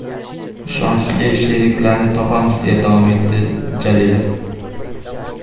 Ishonchli sheriklarni topamiz”, deya davom etadi Jalilov.